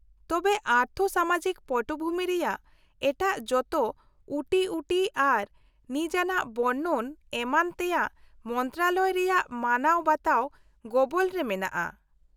-ᱛᱚᱵᱮ ᱟᱨᱛᱷᱚᱼᱥᱟᱢᱟᱡᱤᱠ ᱯᱚᱴᱚᱵᱷᱩᱢᱤ ᱨᱮᱭᱟᱜ ᱮᱴᱟᱜ ᱡᱚᱛᱚ ᱩᱴᱤᱩᱴᱤ ᱟᱨ ᱱᱤᱡᱟᱱᱟᱜ ᱵᱚᱨᱱᱚᱱ ᱮᱢᱟᱱ ᱛᱮᱭᱟᱜ ᱢᱚᱱᱛᱨᱚᱱᱟᱞᱚᱭ ᱨᱮᱭᱟᱜ ᱢᱟᱱᱟᱣ ᱵᱟᱛᱟᱣ ᱜᱚᱵᱚᱞ ᱨᱮ ᱢᱮᱱᱟᱜᱼᱟ ᱾